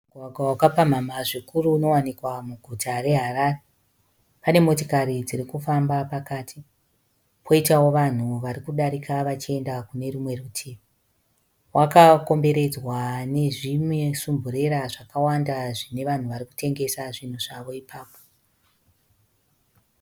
Mugwagwa wakapamhamha zvikuru unowanikwa muguta reHarare. Pane motikari dziri kufamba pakati, poitawo vanhu vari kudarika vachienda kune rumwe rutivi. Wakakomberedzwa nezvimesumburera zvakawanda zvine vanhu vari kutengesa zvinhu zvavo ipapo.